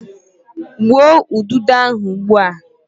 gbuo ududo ahu ugbua!